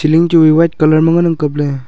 chu wai white colour ma ngan ang kapley.